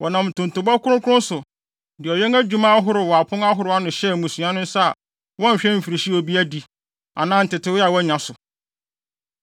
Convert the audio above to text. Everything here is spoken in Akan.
Wɔnam ntontobɔ kronkron so, de ɔwɛn adwuma wɔ apon ahorow ano hyɛɛ mmusua no nsa a wɔnhwɛ mfirihyia a obi adi, anaa ntetewee a wanya so.